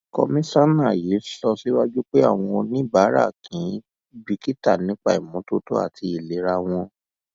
kọmísánà yìí sọ síwájú pé àwọn oníbàárà kì í bìkítà nípa ìmọtótó àti ìlera wọn